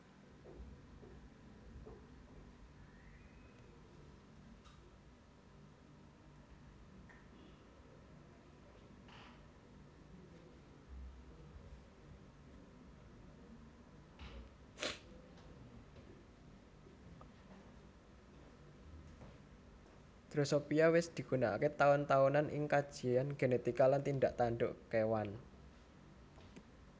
Drosophila wis digunakaké taun taunan ing kajian genetika lan tindak tanduk kéwan